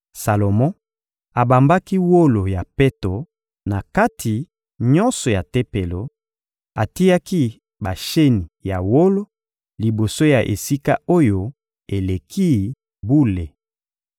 Salomo abambaki wolo ya peto na kati nyonso ya Tempelo; atiaki basheni ya wolo liboso ya Esika-Oyo-Eleki-Bule.